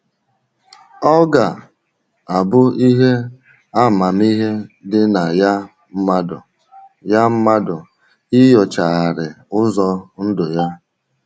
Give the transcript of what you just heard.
Ọ ga - abụ ihe amamihe dị na ya mmadụ ya mmadụ inyochagharị ụzọ ndụ ya.